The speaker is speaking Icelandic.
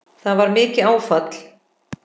Það var mikið áfall.